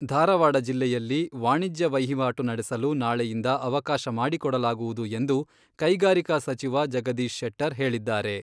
ಧಾರವಾಡ ಜಿಲ್ಲೆಯಲ್ಲಿ ವಾಣಿಜ್ಯ ವಹಿವಾಟು ನಡೆಸಲು ನಾಳೆಯಿಂದ ಅವಕಾಶ ಮಾಡಿಕೊಡಲಾಗುವುದು ಎಂದು ಕೈಗಾರಿಕಾ ಸಚಿವ ಜಗದೀಶ್ ಶೆಟ್ಟರ್ ಹೇಳಿದ್ದಾರೆ.